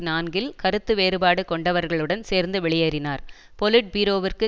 நான்கில் கருத்துவேறுபாடு கொண்டவர்களுடன் சேர்ந்து வெளியேறினார் பொலிட்பீரோவிற்கு